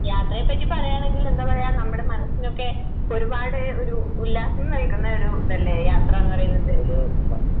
യാത്രയെ പറ്റി പറയാണെങ്കിൽ എന്താ പറയ്യ്വാ നമ്മുടെ മനസ്സിനൊക്കെ ഒരുപാട് ഒരു ഉല്ലാസം നൽകുന്ന ഒരു ഇതല്ലേ യാത്രാന്ന് പറയുന്നത്.